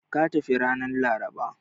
Ka tafi ranar Laraba!